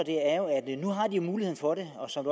er jo har de mulighed for det og som